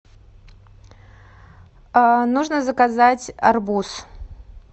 нужно заказать арбуз